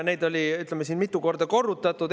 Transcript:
Neid on siin mitu korda korrutatud.